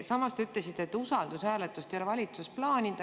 Samas te ütlesite, et usaldushääletust ei ole valitsus plaaninud.